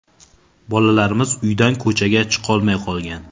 Bolalarimiz uydan ko‘chaga chiqolmay qolgan.